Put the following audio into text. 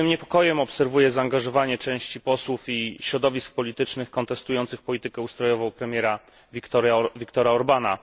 Z pewnym niepokojem obserwuję zaangażowanie części posłów i środowisk politycznych kontestujących politykę ustrojową premiera Viktora Orbána.